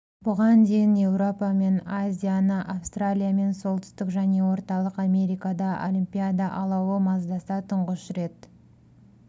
бұған дейін еуропа мен азияны австралия мен солтүстік және орталық америкада олимпиада алауы маздаса тұңғыш рет